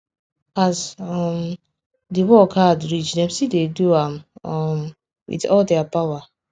as um the work hard reach dem still dey do am um with all their power